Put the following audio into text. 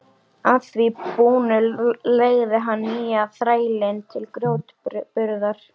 Að því búnu leigði hann nýja þrælinn til grjótburðar.